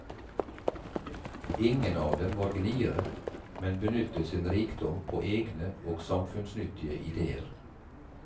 Ingen av dem var gniere, men benyttet sin rikdom på egne og samfunnsnyttige ideer.